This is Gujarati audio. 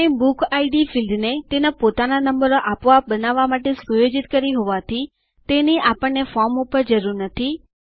આપણે બુકિડ ફિલ્ડ ને તેના પોતાના નંબરો આપોઆપ બનાવવા માટે સુયોજિત કરી હોવાથી તેની આપણને ફોર્મ પર જરૂર નથી